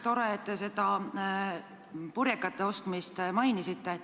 Tore, et te seda purjekate ostmist mainisite.